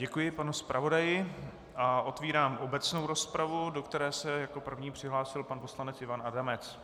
Děkuji panu zpravodaji a otevírám obecnou rozpravu, do které se jako první přihlásil pan poslanec Ivan Adamec.